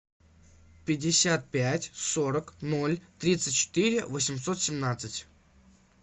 пятьдесят пять сорок ноль тридцать четыре восемьсот семнадцать